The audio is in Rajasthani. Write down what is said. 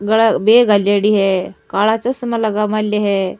गला बेग घालैडी है काला चश्मा लगा मेलो है।